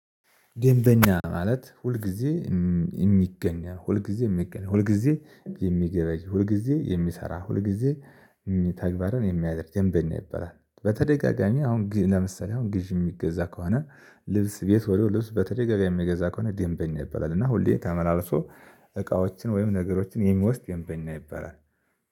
ደንበኛ ማለት ሁልጊዜ እም የሚገኘው፤ ሁልጊዜ የሚገኘው፤ ሁልጊዜ የሚገበይ፤ ሁልጊዜ የሚሰራ፤ ሁልጊዜ የሚ ተግባርን የሚያደርግ ደንበኛ ይባላል። በተደጋጋሚ አሁን ግ ለምሳሌ አሁን ግዢ የሚገዛ ከሆነ ልብስ ቤት ወዲያው ልብስ በተደጋጋሚ የሚገዛ ከሆነ ደንበኛ ይበላል እና ሁሌ ተመላልሶ እቃዎችን ወይም ነገሮችን የሚወስድ ደንበኛ ይባላል።